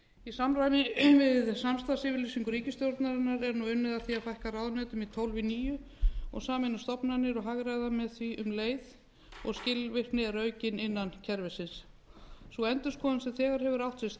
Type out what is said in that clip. í samræmi við samstarfsyfirlýsingu ríkisstjórnarinnar er nú unnið að því að fækka ráðuneytum úr tólf í níu og sameina stofnanir og hagræða með því um leið og skilvirkni er aukin innan kerfisins sú endurskoðun sem þegar hefur átt sér stað og enn er unnið að í